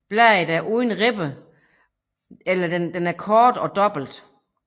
Bladet er uden ribbe eller den er kort og dobbelt